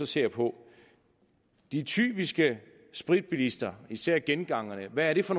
ser på de typiske spritbilister især gengangerne hvad er det så